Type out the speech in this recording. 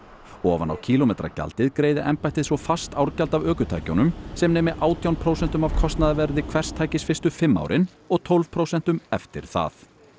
ofan á kílómetragjaldið greiði embættið svo fast árgjald af ökutækjunum sem nemi átján prósentum af kostnaðarverði hvers tækis fyrstu fimm árin og tólf prósentum eftir það